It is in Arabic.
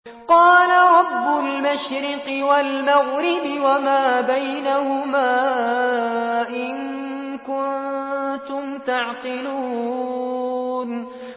قَالَ رَبُّ الْمَشْرِقِ وَالْمَغْرِبِ وَمَا بَيْنَهُمَا ۖ إِن كُنتُمْ تَعْقِلُونَ